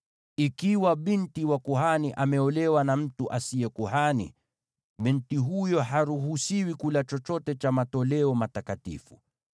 Ikiwa binti wa kuhani ameolewa na mtu asiye kuhani, binti huyo haruhusiwi kula chochote cha matoleo matakatifu.